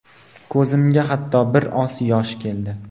ko‘zimga hattoki bir oz yosh keldi.